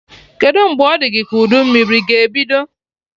Kedụ mgbe ọ dị gị ka udu mmiri ga ebido?